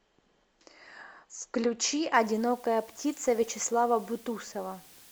включи одинокая птица вячеслава бутусова